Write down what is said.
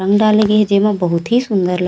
अंडा लगे हे जेमा बहुत ही सुंदर--